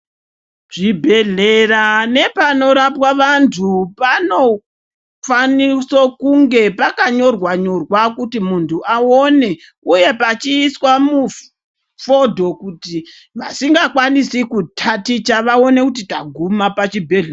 Zvi bhedhlera nepano rapwa vantu pano kwaniso kunge paka nyorwa nyorwa kuti muntu awone uye pachi iswa mu fudho kuti vasinga kwanisi ku taticha vaone kuti taguma pa chibhedhleya.